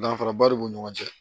Danfaraba de b'u ni ɲɔgɔn cɛ